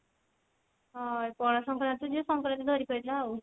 ହଁ ଏଇ ପଣା ସଙ୍କ୍ରାନ୍ତି କୁ ଯିଏ ସଙ୍କ୍ରାନ୍ତି ଧରି ପାରିଲା ଆଉ